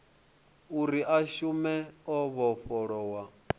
uri a shume o vhofholowa